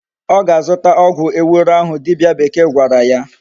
O ga-azuta ogwu ewuro ahu dibia bekee gwara ya